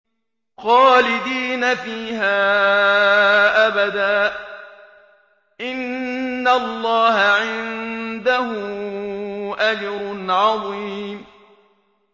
خَالِدِينَ فِيهَا أَبَدًا ۚ إِنَّ اللَّهَ عِندَهُ أَجْرٌ عَظِيمٌ